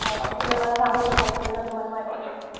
ते तुम्ही सांगू शकाल काय जर तुम्हला महती असेल तर.